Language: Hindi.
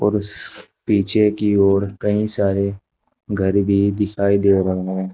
उस पीछे की ओर कई सारे घर भी दिखाई दे रहे हैं।